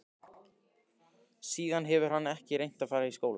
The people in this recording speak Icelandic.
Síðan hefur hann ekkert reynt að fara í skóla.